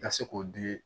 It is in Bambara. Ka se k'o di